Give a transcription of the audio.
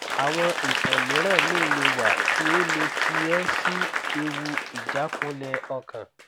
awon itan miran mi le wa ti o le fi e si ewu ijakunle okan